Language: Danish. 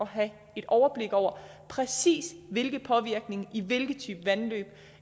have et overblik over præcis hvilken påvirkning i hvilke type vandløb